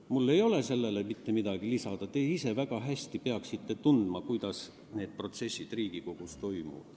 Mul ei ole sellele mitte midagi lisada, te peaksite ise väga hästi teadma, kuidas need protsessid Riigikogus toimuvad.